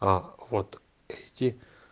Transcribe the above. а вот эти